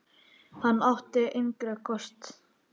Hann átti engra kosta völ.